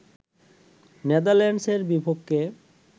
নেদারল্যান্ডসের বিপক্ষে